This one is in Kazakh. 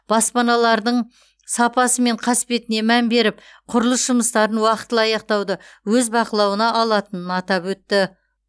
баспаналардың сапасы мен қасбетіне мән беріп құрылыс жұмыстарын уақтылы аяқтауды өз бақылауына алатынын атап өтті